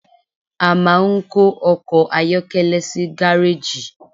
a ma n kó ọkọ ayọkẹlẹ sí gareji.